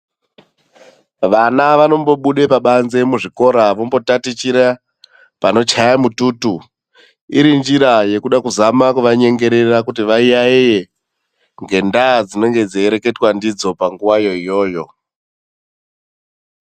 Vana vanombobuga pabanze muzvikora vambotatichira panochaye mututu. Irinjira yekuda kuzama kuwanyengerera kuti vayaiye ngendaa dzinenge dzei reketwa ndidzo panguva iyoyoyo.